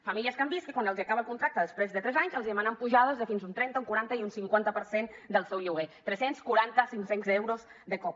famílies que han vist que quan se’ls acaba el contracte després de tres anys els demanen pujades de fins a un trenta un quaranta i un cinquanta per cent del seu lloguer tres cents i quaranta cinc cents euros de cop